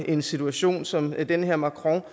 en situation som den her macron